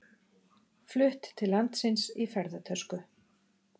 Flutt til landsins í ferðatösku